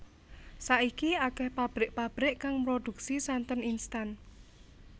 Saiki akéh pabrik pabrik kang mroduksi santen instan